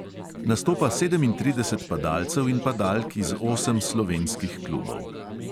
Nastopa sedemintrideset padalcev in padalk iz osem slovenskih klubov.